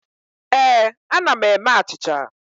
Ee, ana m eme achịcha.